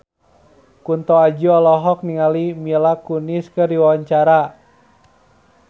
Kunto Aji olohok ningali Mila Kunis keur diwawancara